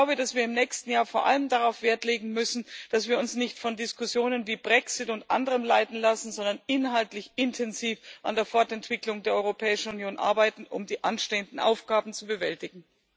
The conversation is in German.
Ich glaube, dass wir im nächsten Jahr vor allem darauf Wert legen müssen, dass wir uns nicht von Diskussionen wie über den Brexit und anderem leiten lassen, sondern inhaltlich intensiv an der Fortentwicklung der Europäischen Union arbeiten, um die anstehenden Aufgaben zu bewältigen.